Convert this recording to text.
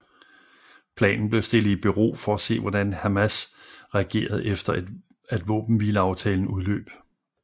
Planen blev stillet i bero for at se hvordan Hamas reagerede efter at våbenhvileaftalen udløb